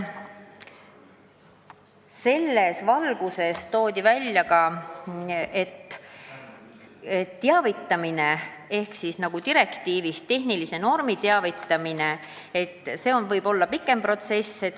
Selles valguses toodi välja, et direktiivis ette nähtud tehnilisest normist teavitamine võib olla pikem protsess.